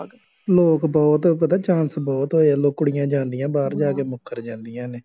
ਲੋਕ ਬਹੁਤ ਪਤਾ chance ਬਹੁਤ ਹੋਏ ਆ, ਲੋਕ ਕੁੜੀਆਂ ਜਾਂਦੀਆਂ, ਬਾਹਰ ਜਾ ਕੇ ਮੁੱਕਰ ਜਾਂਦੀਆਂ ਨੇ